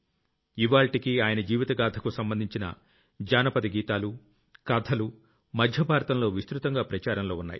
ఇవ్వాళ్టికీ ఆయన జీవిత గాథకు సంబంధించిన జానపద గీతాలు కథలు మధ్య భారతంలో విస్తృతంగా ప్రచారంలో ఉన్నాయి